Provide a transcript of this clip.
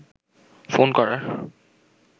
phone করার